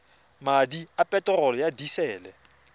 madi a peterolo ya disele